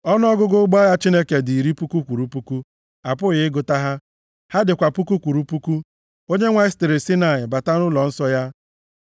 Ọnụọgụgụ ụgbọ agha Chineke dị iri puku kwụrụ puku, a pụghị ịgụta ha; ha dịkwa puku kwụrụ puku; Onyenwe anyị sitere Saịnaị bata nʼụlọnsọ ya.